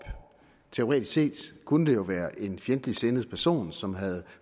teoretisk set kunne det jo være en fjendtligsindet person som havde